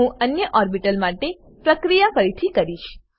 હું અન્ય ઓર્બીટલ માટે પ્રક્રિયા ફરીથી કરીશ